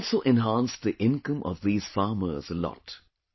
This has also enhanced the income of these farmers a lot